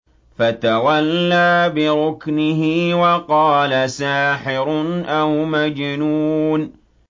فَتَوَلَّىٰ بِرُكْنِهِ وَقَالَ سَاحِرٌ أَوْ مَجْنُونٌ